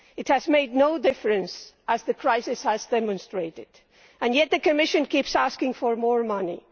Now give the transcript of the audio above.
It has made no difference, as the crisis has demonstrated, and yet the Commission keeps asking for more money.